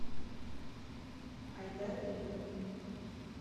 айдар репин